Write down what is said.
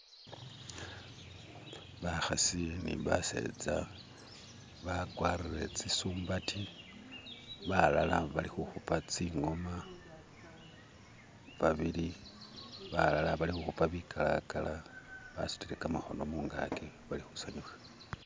Bakhasi ni basetsa bakwarire tsi sumbati balala balikhukhupa tsi ng'oma babili balala bali khukhupa bikalakala basutile kamakhono mungaki balikhusanyuka